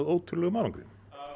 ótrúlegum árangri